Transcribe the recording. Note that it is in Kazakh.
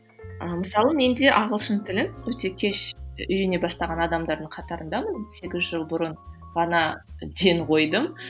ы мысалы мен де ағылшын тілін өте кеш үйрене бастаған адамдардың қатарындамын сегіз жыл бұрын ғана ден қойдым